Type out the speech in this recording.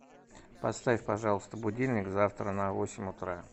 поставь пожалуйста будильник завтра на восемь утра